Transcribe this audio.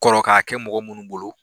kɔrɔ ka kɛ mɔgɔ munnu bolo